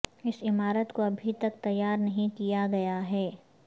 اس عمارت کو ابھی تک تیار نہیں کیا گیا ہے